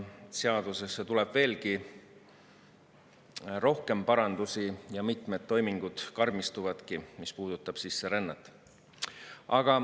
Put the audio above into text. Seadusesse tuleb veelgi rohkem parandusi ja mitmed toimingud karmistuvadki, mis puudutab sisserännet.